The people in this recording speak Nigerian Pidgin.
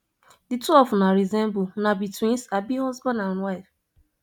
di two of una resemble una be twins abi husband and wife